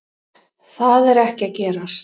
Það er ekki að gerast